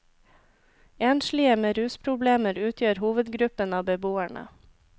Enslige med rusproblemer utgjør hovedgruppen av beboerne.